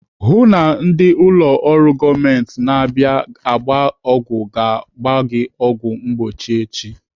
Hụụ na ndị ụlọ ọrụ gọọmenti na-abịa agba ọgwụ gbara gị ọgwụ mgbochi echi!